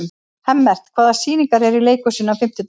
Hemmert, hvaða sýningar eru í leikhúsinu á fimmtudaginn?